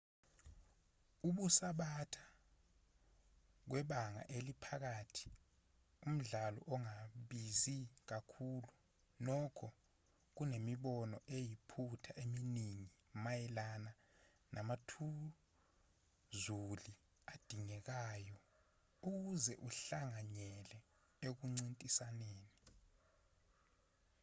ukusubatha kwebanga eliphakathi umdlalo ongabizi kakhulu nokho kunemibono eyiphutha eminingi mayelana namathuzuli adingekayo ukuze uhlanganyele ekuncintisaneni